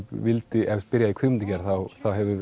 byrjaði í kvikmyndagerð þá